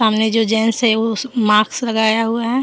सामने जो जेंट्स है उस मास्क लगाया हुआ है।